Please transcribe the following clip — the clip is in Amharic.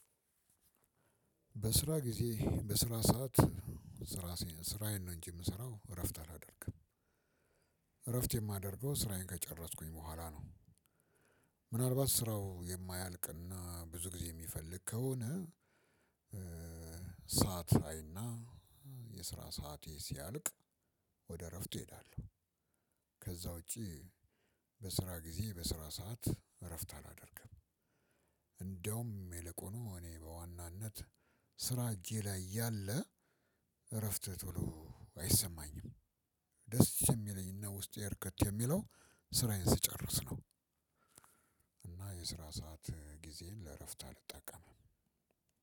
በስራ ጊዜ በስራ ሰዓት ስራ ስራዬን ነው እንጂ የምሰራው እረፍት አላደርግም እረፍት የማደርገው ስራዬን ከጨረስኩኝ በኋላ ነው። ምናልባት ስራው የማያልቅና ብዙ ጊዜ የሚፈልግ ከሆነ። ሰዓት አይና የስራ ሰዓት ሲያልቅ ወደ እረፍት እሄዳለሁ። ከዛ ውጪ በስራ ጊዜ በስራ ሰዓት እረፍት አላደርግም። እንደውም ይልቁኑ እኔ በዋናነት ስራ እጄ ላይ እያለ እረፍት ቶሎ አይሰማኝም ደስ እሚለኝና ውስጤ እርክት የሚለው ስራዬን ስጨርስ ነው። እና የስራ ሰዓት ጊዜን ለእረፍት አልጠቀምም።